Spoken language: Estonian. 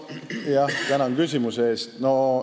Tänan küsimuse eest!